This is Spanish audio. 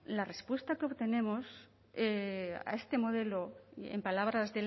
la respuesta que obtenemos a este modelo en palabras